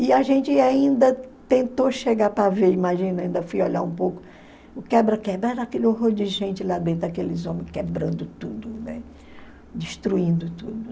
E a gente ainda tentou chegar para ver, imagina, ainda fui olhar um pouco, o quebra-quebra era aquele horror de gente lá dentro, aqueles homens quebrando tudo, né, destruindo tudo.